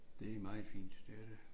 Det meget fint det er det